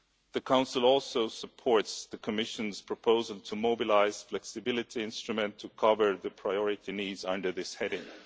The Council also supports the Commission's proposal to mobilise the Flexibility Instrument to cover the priority needs under this heading.